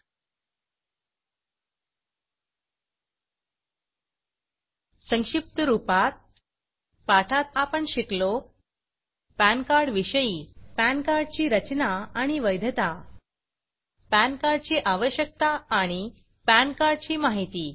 httpsincometaxindiaefilinggovine FilingServicesKnowYourPanLinkhtml संक्षिप्त रूपात पाठात आपण शिकलो पॅन कार्ड विषयी पॅन कार्ड ची रचना आणि वैधता पॅन कार्ड ची आवश्यकता आणि पॅन कार्ड ची माहिती